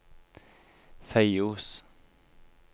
Feios